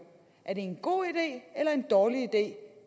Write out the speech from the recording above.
at en god idé eller en dårlig idé